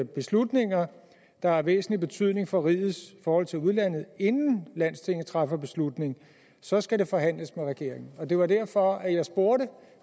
beslutninger der har væsentlig betydning for rigets forhold til udlandet inden landstinget træffer beslutning så skal det forhandles med regeringen det var derfor jeg spurgte